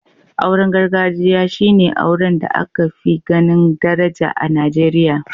Auren gargajiya shi ne auren da aka fi ganin daraja a Nigeriya.